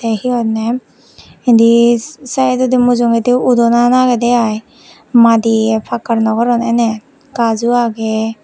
tey hi honney indi saedodi mujugedi udonan agedey i madi pakkar nw goron eney gaj o agey.